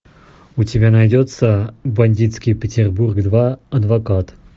у тебя найдется бандитский петербург два адвокат